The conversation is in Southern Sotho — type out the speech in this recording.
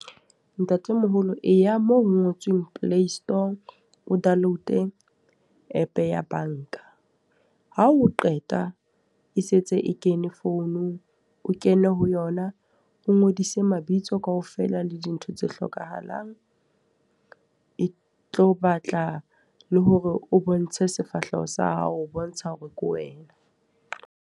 Ntatemoholo e ya moo ho ngotsweng play store, o download e app ya banka. Ha o qeta, e sentse e kene founung. O kene ho yona, o ngodise mabitso kaofela le dintho tse hlokahalang. E tlo batla le hore o bontshe sefahleho sa hao ho bontsha hore ke wena.